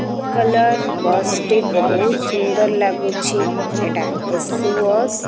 Blue colour bus ଟି ବହୁତ୍ ସୁନ୍ଦର ଲାଗୁଛି ଏଇଟା ଏସି ବସ୍ ।